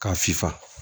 K'a sifa